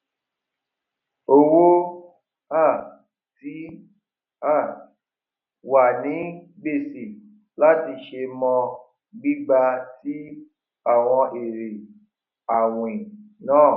owó um ti um wà ní gbèsè láti ṣe mọ gbígba tí àwọn èrè àwìn náà